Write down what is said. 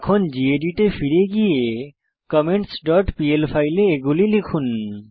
এখন গেদিত এ ফিরে গিয়ে commentsপিএল ফাইলে এগুলি লিখুন